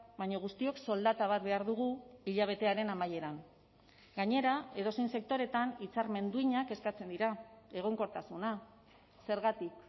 baina guztiok soldata bat behar dugu hilabetearen amaieran gainera edozein sektoretan hitzarmen duinak eskatzen dira egonkortasuna zergatik